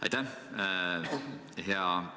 Aitäh!